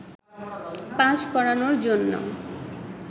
pass করানোর জন্য